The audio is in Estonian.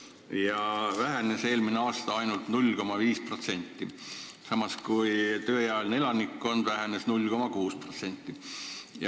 Nende arv vähenes eelmisel aastal ainult 0,5%, samas kui tööealine elanikkond vähenes 0,6%.